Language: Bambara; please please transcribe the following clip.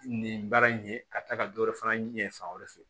Nin baara in ye ka taa ka dɔ wɛrɛ fana ɲɛ fan wɛrɛ fɛ